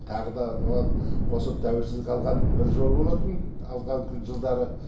тағы да оған қосып тәуелсіздік алған бір жыл болатын алған күн жылдары